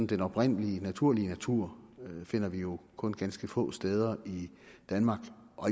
den oprindelige naturlige natur finder vi jo kun ganske få steder i danmark